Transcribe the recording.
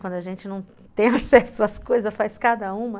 Quando a gente não tem acesso às coisas, faz cada uma.